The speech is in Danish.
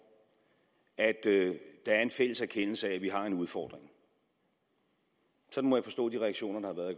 at der er en fælles erkendelse af at vi har en udfordring sådan må jeg forstå de reaktioner der